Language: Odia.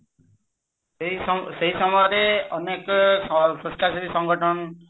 ସେଇ ସମୟ ସେଇ ସମୟରେ ଅନେକ ସ୍ବଛାଚାରୀ ସଂଗଠନ